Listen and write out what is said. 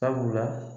Sabula